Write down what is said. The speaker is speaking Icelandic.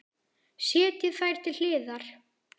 Setjið þær til hliðar.